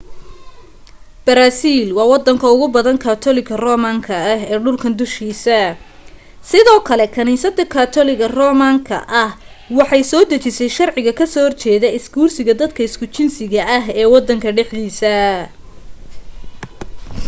brazil waa wadanka ugu badan katoliga roman ka ah ee dhulkan dushiisa sidoo kale kaniisada katoliga roman ka ah waxay soo dejisay sharciga ka soo horjeeda isguursiga dadka isku jinsiga ah ee wadan dhexdiisa